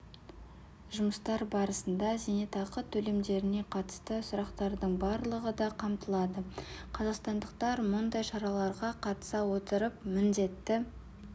жұмыстар барысында зейнетақы төлемдеріне қатысты сұрақтардың барлығы да қамтылады қазақстандықтар мұндай шараларға қатыса отырып міндетті